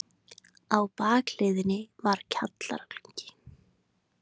Á bakhliðinni var kjallaragluggi.